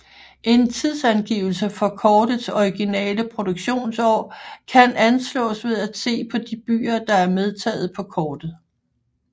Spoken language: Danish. En tidsangivelse for kortets originale produktionsår kan anslås ved at se på de byer der er medtaget på kortet